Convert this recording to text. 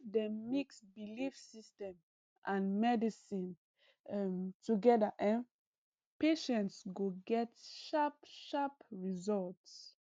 if dem mix belief system and medicine um together um patients go get sharp sharp results